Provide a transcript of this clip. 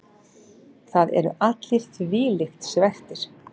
Það eru allir þvílíkt svekktir.